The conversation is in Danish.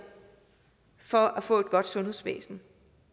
for at få et godt sundhedsvæsen